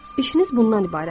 İşiniz bundan ibarətdir.